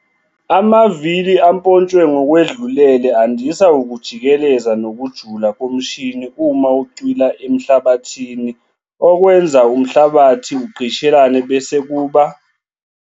Amavili ampontshwe ngokwedlulele andisa ukujikeleza nokujula komshini uma ucwila emhlabathini okwenza umhlabathi ugqishelane bese kuba.